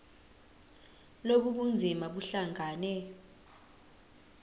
lobu bunzima buhlangane